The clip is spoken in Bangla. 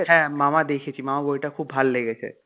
হ্যাঁ মামা দেখেছি মামা বইটা খুব ভাল লেগেছে.